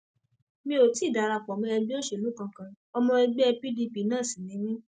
mi ò tí ì dara pọ mọ ẹgbẹ òṣèlú kankan ọmọ ẹgbẹ pdp náà sì ni mí